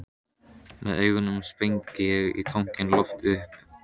Með augunum sprengi ég tankinn í loft upp.